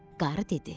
Qarı dedi: